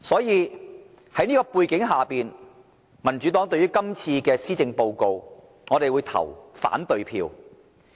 因此，在這種背景下，民主黨對今次的致謝動議會投反對票。